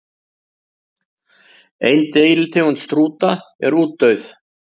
Ein deilitegund strúta er útdauð.